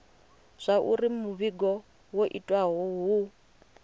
zwauri muvhigo wo itiwa hu